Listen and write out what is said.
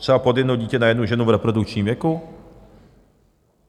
Třeba pod jedno dítě na jednu ženu v reprodukčním věku?